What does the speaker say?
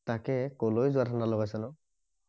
তাকে কলৈ যোৱা ধান্দা লগাইছানো